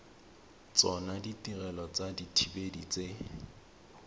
tsona ditirelo tsa dithibedi tse